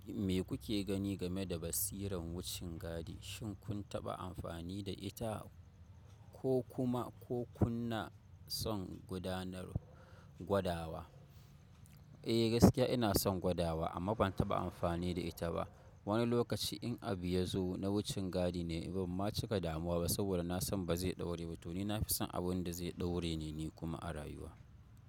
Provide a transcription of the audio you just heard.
Me kuke gani game da basiran wucin gadi? Shin kun taɓa amfani da ita ko kuma ko kuna son gudanar gwadawa? Eh gaskiya ina son gwadawa amma ban taɓa amfani da ita ba. Wani lokaci in abu ya zo na wucin gadi ne ban ma cika damuwa ba saboda na san ba zai ɗaure ba. To ni na fi son abin da zai ɗaure ne ni kuma a rayuwa.